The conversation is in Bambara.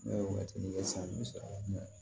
Ne ye wagatini kɛ san bi sɔrɔ a la